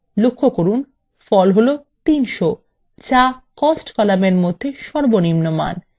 লক্ষ্য করুন ফল হলো ৩০০ যা cost কলামের মধ্যে সর্বনিম্ন মান